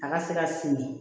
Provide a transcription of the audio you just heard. A ka se ka siri